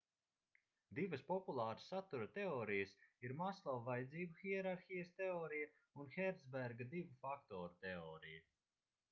divas populāras satura teorijas ir maslova vajadzību hierarhijas teorija un hercberga divu faktoru teorija